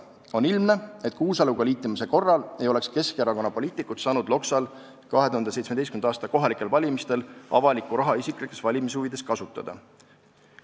On ilmne, et Kuusaluga liitumise korral ei oleks Keskerakonna poliitikud saanud Loksal 2017. aasta kohalikel valimistel avalikku raha isiklikes valimishuvides kasutada.